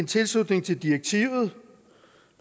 tilslutning til direktivet